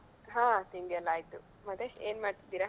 ಹಾ ತಿಂಡಿಯೆಲ್ಲಾ ಆಯ್ತು ಮತ್ತೆ ಏನ್ ಮಾಡ್ತಿದ್ದೀರಾ?